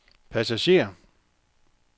passager